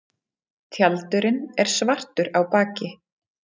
tjaldurinn er svartur á baki